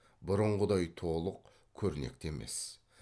бұрынғыдай толық көрнекті емес